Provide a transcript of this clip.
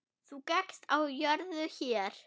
Þú gekkst á jörðu hér.